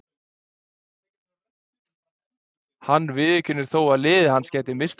Hann viðurkennir þó að liðið hans gæti misst af því.